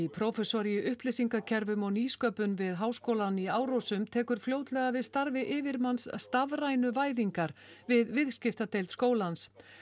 prófessor í upplýsingakerfum og nýsköpun við Háskólann í Árósum tekur fljótlega við starfi yfirmanns stafrænu væðingar við viðskiptadeild skólans